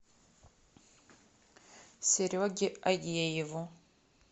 сереге агееву